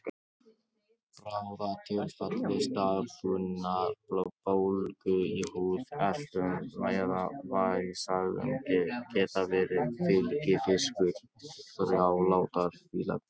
Bráðatilfelli staðbundinnar bólgu í húð, eitlum eða vessaæðum geta verið fylgifiskur þrálátrar fílaveiki.